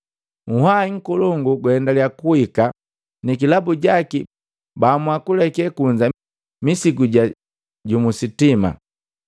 uhwahi nkolongu gaendaliyaa kuhika, nikilabu jaki baamua kuleke kunza misigu jili jojoma.